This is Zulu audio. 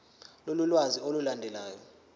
lolu lwazi olulandelayo